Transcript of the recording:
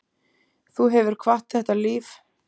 Þú hefur kvatt þetta líf.